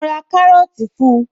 Mo ra kárọ́tì fun